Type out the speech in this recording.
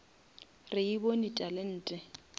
re e bone talente